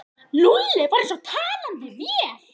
Lúlli var eins og talandi vél.